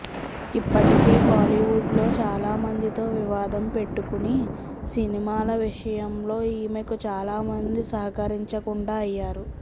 ఇప్పటికే బాలీవుడ్ లో చాలా మందితో వివాదం పెట్టుకుని సినిమాల విషయంలో ఈమెకు చాలా మంది సహకరించకుండా అయ్యారు